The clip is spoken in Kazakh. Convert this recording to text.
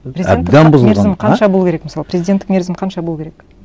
қанша болу керек мысалы президенттік мерзім қанша болу керек